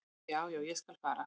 """Já, já, ég skal fara."""